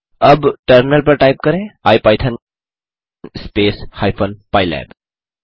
अब टर्मिनल पर टाइप करें इपिथॉन स्पेस हाइफेन पाइलैब